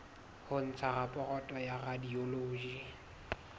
ho ntsha raporoto ya radiology